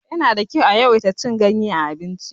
Yana da kyau a yawaita cin ganye a abinci.